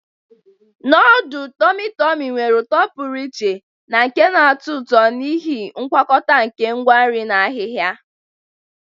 Nodulu tormi tormi nwere uto pụrụ iche na nke na-atọ ụtọ n'ihi ngwakọta nke ngwa nri na ahihia.